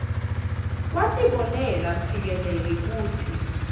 watibonela mphikeleli kutsi